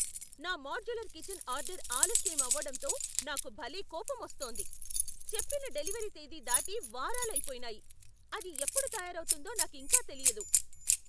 నా modular kitchen order ఆలస్యం అవడంతో నాకు భలే కోపమొస్తోంది. చెప్పిన డెలివరీ తేదీ దాటి వారాలు అయిపోయినాయి, అది ఎప్పుడు తయారవుతుందో నాకింకా తెలియదు.